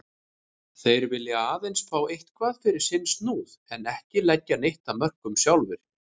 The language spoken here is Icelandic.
Þeir vilja aðeins fá eitthvað fyrir sinn snúð en ekki leggja neitt af mörkum sjálfir.